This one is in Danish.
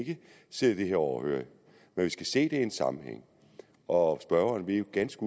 sidde det her overhørigt men vi skal se det i en sammenhæng og spørgeren ved jo ganske